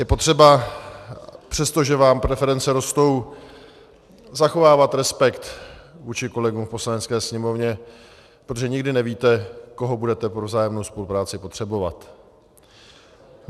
Je potřeba, přestože vám preference rostou, zachovávat respekt vůči kolegům v Poslanecké sněmovně, protože nikdy nevíte, koho budete pro vzájemnou spolupráci potřebovat.